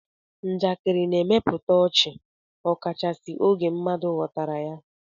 Njakịrị na-emepụta ọchị ọkachasị oge mmadụ ghọtara ya.